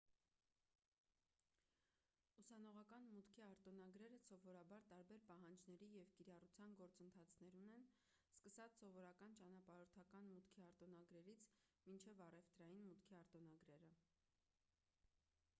ուսանողական մուտքի արտոնագրերը սովորաբար տարբեր պահանջների և կիրառության գործընթացներ ունեն սկսած սովորական ճանապարհորդական մուտքի արտոնագրերից մինչև առևտրային մուտքի արտոնագրերը